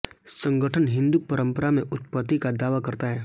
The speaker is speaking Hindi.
संगठन हिंदू परंपरा में उत्पत्ति का दावा करता है